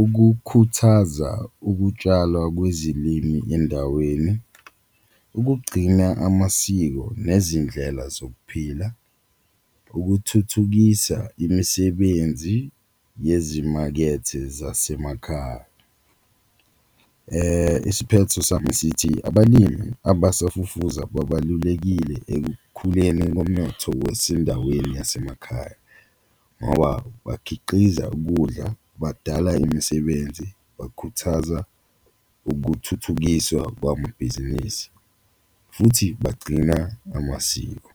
ukukhuthaza ukutshalwa kwezilimi endaweni, ukugcina amasiko nezindlela zokuphila, ukuthuthukisa imisebenzi yezimakethe zasemakhaya. Isiphetho sami sithi abalimi abasafufuza babalulekile ekukhuleni komnotho wesindaweni yasemakhaya ngoba bakhiqiza ukudla, bakudala imisebenzi, bakhuthaza ukuthuthukiswa kwamabhizinisi futhi bagcina amasiko.